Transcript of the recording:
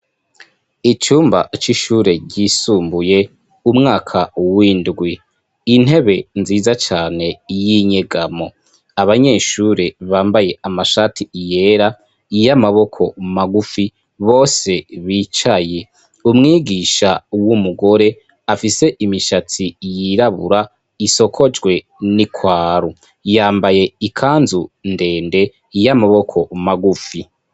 icumba c'ishure ryisumbuye umwaka windwi intebe nziza cane y'inyegamo abanyeshure bambaye amashatiyera Iy'amaboko magufi bose bicaye umwigisha w'umugore afise imishatsi yirabura isokojwe n'ikwaru yambaye ikanzu ndende y'amaboko magufi.